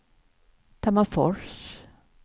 Tammerfors